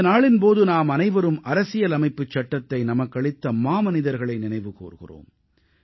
இந்த நாளின் போது நாமனைவரும் அரசியல் அமைப்புச் சட்டத்தை நமக்களித்த மாமனிதர்களை நினைவு கூர்கிறோம்